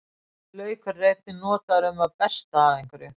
Laukur er einnig notaður um það besta af einhverju.